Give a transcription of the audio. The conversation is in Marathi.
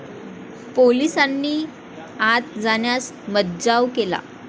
पोलिसांनी आत जाण्यास मज्जाव केला.